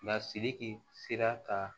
Lasiriki sera ka